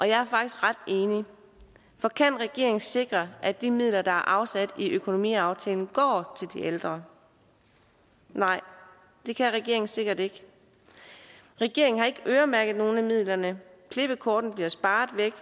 jeg er faktisk ret enig for kan regeringen sikre at de midler der er afsat i økonomiaftalen går til de ældre nej det kan regeringen sikkert ikke regeringen har ikke øremærket nogen af midlerne klippekortet bliver sparet væk